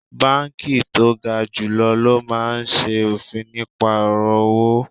Banki to ga julo lo maa n se ofin nipa oro owo